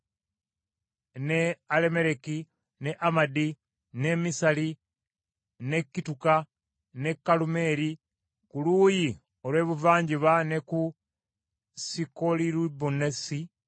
ne Alammereki ne Amadi ne Misali ne kituuka ku Kalumeeri ku luuyi olw’ebuvanjuba ne ku Sikolulibunasi,